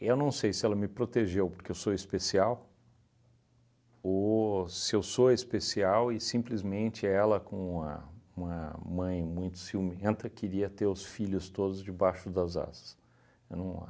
Eu não sei se ela me protegeu porque eu sou especial ou se eu sou especial e simplesmente ela, com uma uma mãe muito ciumenta, queria ter os filhos todos debaixo das asas. Eu não